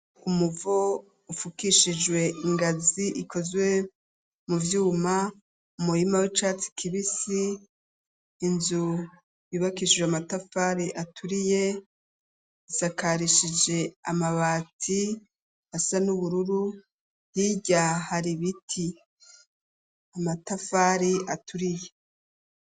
Umuvo, ufukishijwe ingazi ikozwe mu vyuma, umurima w'icatsi kibisi, inzu yubakishijwe amatafari aturiye, isakarishije amabati, asa n'ubururu; hirya hari ibiti, amatafari aturiye.